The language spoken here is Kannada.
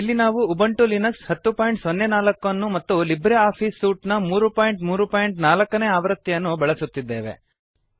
ಇಲ್ಲಿ ನಾವು ಉಬಂಟು ಲಿನಕ್ಸ್ 1004 ಅನ್ನು ಮತ್ತು ಲಿಬ್ರೆ ಆಫೀಸ್ ಸೂಟ್ ನ 334 ನೇ ಆವೃತ್ತಿಯನ್ನು ಬಳಸುತ್ತಿದ್ದೇವೆ